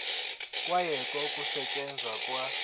kwayekwa ukusetyenzwa kwa